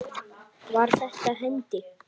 Var þetta hendi?